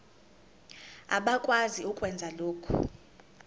abakwazi ukwenza lokhu